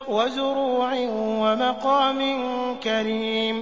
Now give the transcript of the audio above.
وَزُرُوعٍ وَمَقَامٍ كَرِيمٍ